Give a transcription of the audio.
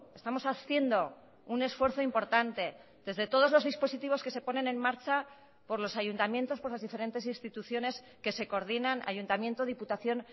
estamos haciendo un esfuerzo importante desde todos los dispositivos que se ponen en marcha por los ayuntamientos por las diferentes instituciones que se coordinan ayuntamiento diputación